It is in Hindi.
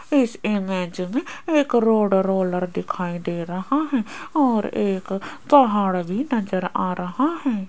इस इमेज में एक रोड रोलर दिखाई दे रहा है और एक पहाड़ भी नजर आ रहा है।